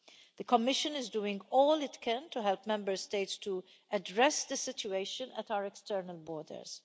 The Commission is doing all it can to help Member States to address the situation at our external borders.